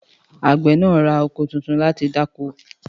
Àgbẹ̀ náà ra oko tuntun láti dáko